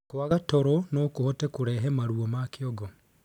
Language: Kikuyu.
Kwaga toro nokũhote kũrehe maruo ma kĩongo